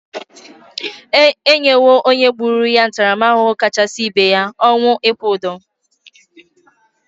E nyego onye gburu ya ntaramahụhụ kachasị ibe ya,:ọnwụ ịkwụ ụdụ.